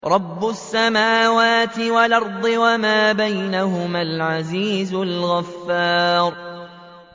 رَبُّ السَّمَاوَاتِ وَالْأَرْضِ وَمَا بَيْنَهُمَا الْعَزِيزُ الْغَفَّارُ